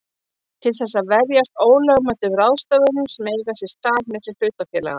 til þess að verjast ólögmætum ráðstöfunum sem eiga sér stað milli hlutafélaga.